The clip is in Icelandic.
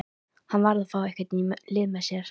Hann varð að fá einhvern í lið með sér.